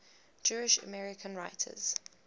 jewish american writers